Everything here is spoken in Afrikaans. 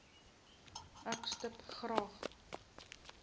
ek stip graag